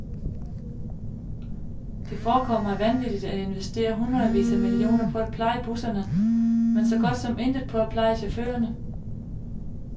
Det forekom mig vanvittigt at investere hundredvis af millioner på at pleje busserne, men så godt som intet på at pleje chaufførerne.